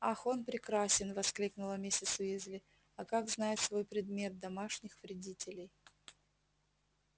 ах он прекрасен воскликнула миссис уизли а как знает свой предмет домашних вредителей